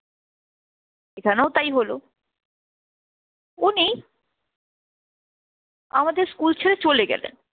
এখানেও তাই হলো উনি আমাদের স্কুল ছেড়ে চলে গেলেন।